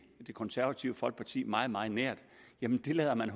det konservative folkeparti meget meget nær lader man